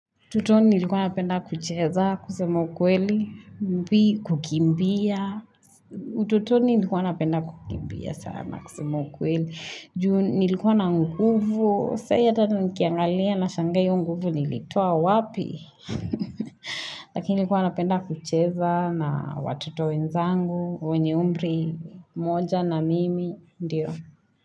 Utotoni nilikuwa napenda kucheza, kusema ukweli, mbi, kukimbia. Ututoni nilikuwa napenda kukimbia sana kusema ukweli, juu. Nilikuwa na nguvu, sai ata nikiangalia nashanga hiyo nguvu nilitoa wapi. Lakini nilikuwa napenda kucheza na watoto wenzangu, wenye umri, moja na mimi, ndiyo.